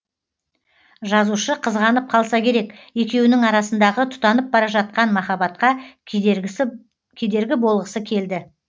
жазушы қызғанып қалса керек екеуінің арасындағы тұтанып бара жатқан махаббатқа кедергі болғысы келді